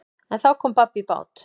En þá kom babb í bát.